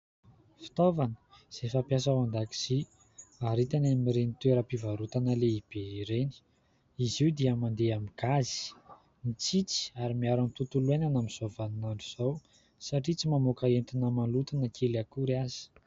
Fitaovana izay fampiasa ao an-dakozia ary hita any amin'ireny toeram-pivarotana lehibe ireny ; izy io dia mandeha amin'ny "gaz", mitsitsy ary miaro amin'ny tontolo hiainana amin'izao vaninandro izao satria tsy mamoaka entona maloto na kely akory aza.